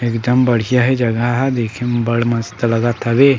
एक दम बढ़िया हे जगह देखे म बढ़ मस्त लगत हवे।